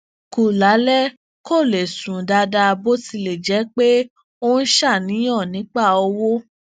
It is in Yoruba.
kù lálé kó lè sùn dáadáa bó tilè jé pé ó ń ṣàníyàn nípa owó